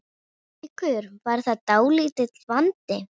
Haukur: Var það dálítill vandi?